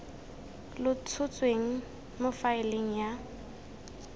lo tshotsweng mo faeleng ya